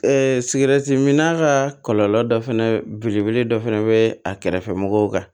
mina ka kɔlɔlɔ dɔ fɛnɛ belebele dɔ fɛnɛ be a kɛrɛfɛ mɔgɔw kan